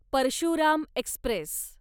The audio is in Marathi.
परशुराम एक्स्प्रेस